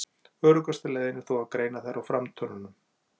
Öruggasta leiðin er þó að greina þær á framtönnunum.